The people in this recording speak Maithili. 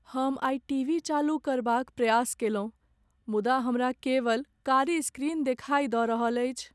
हम आइ टीवी चालू करबाक प्रयास केलहुँ मुदा हमरा केवल कारी स्क्रीन देखाई दऽ रहल अछि।